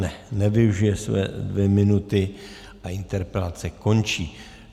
Ne, nevyužije své dvě minuty a interpelace končí.